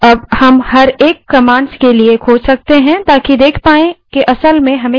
अब हम प्रत्येक commands खोज सकते हैं ताकि देख पाएँ कि असल में हमें क्या चाहिए